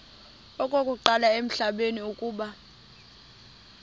okokuqala emhlabeni uba